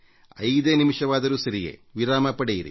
ಐದೇ ನಿಮಿಷವಾದರೂ ಸರಿಯೇ ವಿರಾಮ ಪಡೆಯಿರಿ